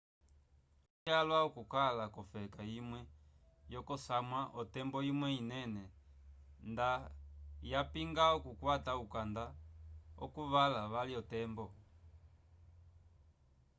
olonjanja vyalwa okukala k'ofeka imwe yokosamwa otembo imwe inene nda yapinga okukwata ukanda wokukala vali otembo